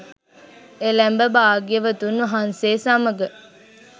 එළැඹ භාග්‍යවතුන් වහන්සේ සමඟ